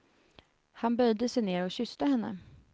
Han böjde sig ned och kysste henne.